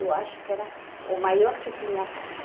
Eu acho que era o maior que tinha a casa.